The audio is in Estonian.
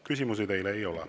Küsimusi teile ei ole.